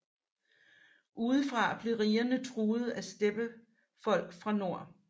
Udefra blev rigerne truede af steppefolk fra nord